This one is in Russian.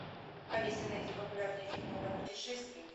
алиса найди популярные фильмы про путешествия